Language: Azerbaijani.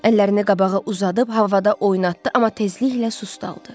Əllərini qabağa uzadıb havada oynatdı, amma tezliklə susdaldı.